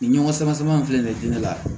Nin ɲɔgɔn sama sama in filɛ nin ye diinɛ la